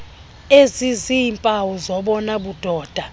eziziiimpawu zobona budoda